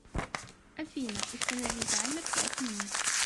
афина установи таймер пять минут